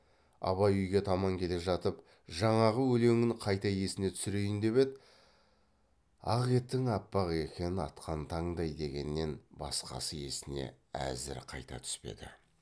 абай үйге таман келе жатып жаңағы өлеңін қайта есіне түсірейін деп еді ақ етің аппақ екен атқан таңдай дегеннен басқасы есіне әзір қайта түспеді